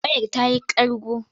Wayar ta yi ƙarƙo.